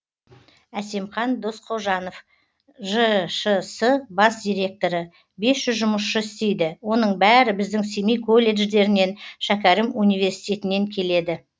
әсемқан досқожанов жшс бас директоры бес жүз жұмысшы істейді оның бәрі біздің семей колледждерінен шәкәрім университетінен келеді